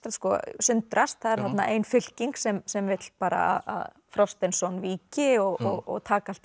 sundrast það er þarna ein fylking sem sem vill bara víki og taka allt í